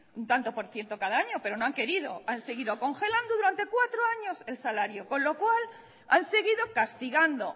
un tanto por ciento cada año pero no han querido han seguido congelando durante cuatro años el salario con lo cual han seguido castigando